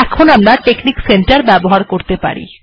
এখন আমরা technique centre ব্যবহার করতে পারি